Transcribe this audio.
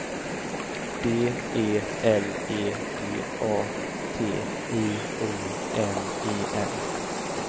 D E L E G A T I O N E N